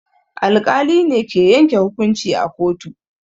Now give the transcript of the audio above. Alƙali ne ke yanke hukunci a kotu.